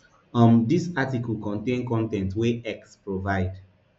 um dis article contain con ten t wey x provide